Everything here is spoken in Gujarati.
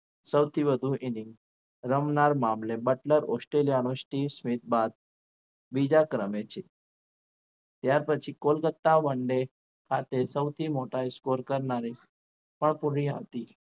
સૌથી વધુ inning રમનાર મામલે બટલર ઓસ્ટ્રેલિયાનો સ્ટીવ વિથ બાદ બીજા ક્રમે છે ત્યાર પછી કોલકત્તા વન-ડે આજે સૌથી મોટા score કરનારે પણ પૂરી આવતી